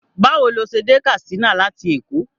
Báwo ló ṣe dé Katsina láti Èkó?